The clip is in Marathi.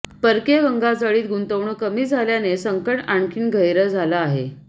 परकीय गंगाजळीत गुंतवणूक कमी झाल्याने संकट आणखी गहिरं झालं आहे